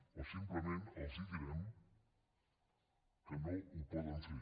o simplement els direm que no ho poden fer